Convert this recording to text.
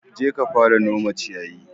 Jeka ka fara nome ciyayi.